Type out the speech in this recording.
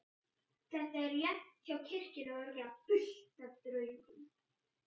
Þetta er rétt hjá kirkjunni og örugglega fullt af draugum.